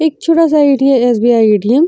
एक छोटा-सा एटीएम है एस बी ई एटीएम --